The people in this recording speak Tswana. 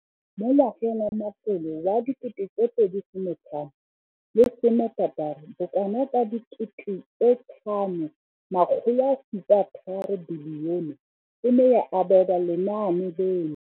Mo ngwageng wa matlole wa 2015,16, bokanaka R5 703 bilione e ne ya abelwa lenaane leno.